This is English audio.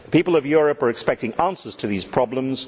The people of Europe are expecting answers to these problems.